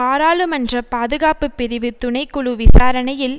பாராளுமன்ற பாதுகாப்புப்பிரிவு துணைக்குழு விசாரணையில்